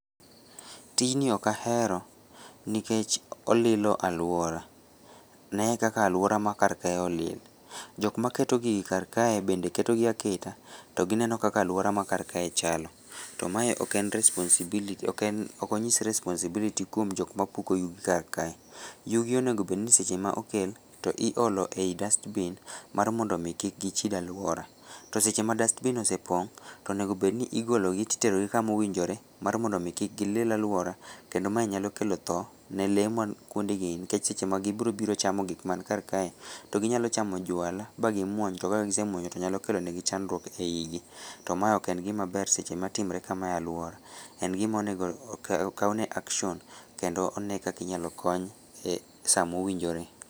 Tijni okahero nikech olilo aluora, nee kaka aluora ma karkae olil, jokmaketo gigi karkae bende ketogi aketa to gineno kaka aluora ma karkae chalo, to mae ok en responsibility ok en okonyis responsibility kwom jikmapuko yugi karkae, yugi onegobedni seche ma okel to iolo ei dust bin mar mondomi ki k gichid aluora, to sechema dust bin osepong to onegobedni igologi titerogi kamowinjore marmondomi kik gilil aluora kendo mae nyalokelo thoo ne lee man kwondegi nikech, seche ma gibirochamo gik mankarkae to ginyalochamo jwala ba gimuony to kagisemuonyo to nyalokelonegi chandruok e igi, to mae oken gimaber seche matimre kamae e aluora, en gimonego okawne action kendo onee kaka inyalokony e saa mowinjore.